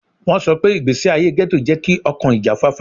Wọn sọ pe igbesi aye ghetto jẹ ki ọkan ijafafa